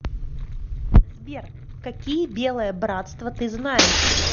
сбер какие белое братство ты знаешь